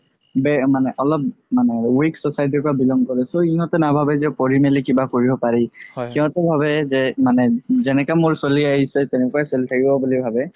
মানে অলপ মানে weak society ৰ পাই belong কৰে so ইহতে বাভাবে যে পঢ়ি মেলি কিবা কৰিব পাৰি সিহতে ভাবে যে মানে যে যেনেকা মই চলি আহিছো তেনেকুৱাই চলি থাকিব বুলি ভাবে